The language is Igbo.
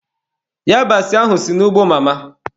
Yabasị ahụ si n'ugbo mama.